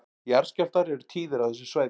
Jarðskjálftar eru tíðir á þessu svæði